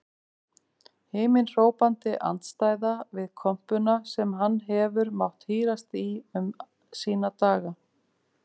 Himinhrópandi andstæða við kompuna sem hann hefur mátt hírast í um sína daga.